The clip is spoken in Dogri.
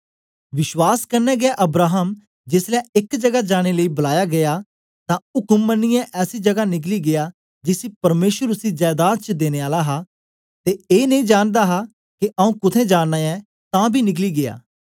विश्वास कन्ने गै अब्राहम जेसलै एक जगा जाने लेई बलाया गीया तां उक्म मनियै ऐसी जगा निकली गीया जिसी परमेसर उसी जैदाद च देने आला हा ते ए नेई जानदा हा के आऊँ कुत्थें जाना ऐ तां बी निकली गीया